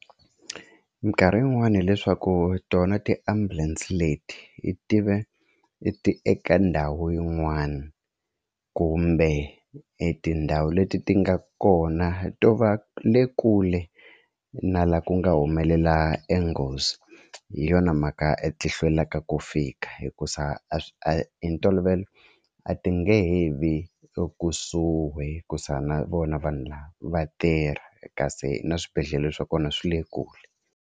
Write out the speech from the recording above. Mikarhi yin'wani hileswaku tona ti-ambulance leti ti ve eka ndhawu yin'wana kumbe e tindhawu leti ti nga kona to va le kule na la ku nga humelela e nghozi hi yona mhaka a ti hlwelaka ku fika hikuza a swi a hi ntolovelo a ti nge he vi ekusuhi hikuza na vona vanhu lava va tirha kasi na swibedhlele swa kona swi le kule.